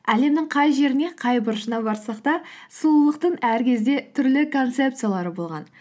әлемнің қай жеріне қай бұрышына барсақ та сұлулықтың әр кезде түрлі концепциялары болған